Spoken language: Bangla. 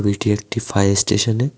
এটি একটি ফায়ার স্টেশনে--